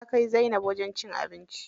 Na kai zainab wajen cin abinci.